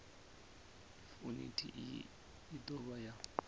yuniti iyi i dovha ya